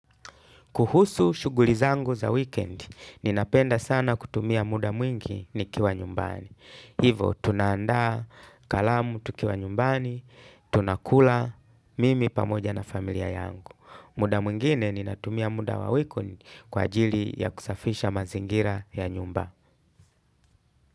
Kuhusu shughuli zangu za weekend, ninapenda sana kutumia muda mwingi nikiwa nyumbani. Hivo, tunaandaa, kalamu tukiwa nyumbani, tunakula, mimi pamoja na familia yangu. Muda mwingine, ninatumia muda wa weekend kwa ajili ya kusafisha mazingira ya nyumba.